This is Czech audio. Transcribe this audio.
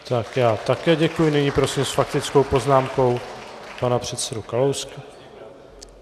Tak já také děkuji, nyní prosím s faktickou poznámkou pana předsedu Kalouska. .